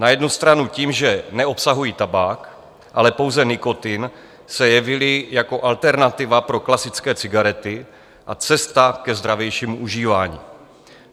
Na jednu stranu tím, že neobsahují tabák, ale pouze nikotin, se jevily jako alternativa pro klasické cigarety a cesta ke zdravějšímu užívání.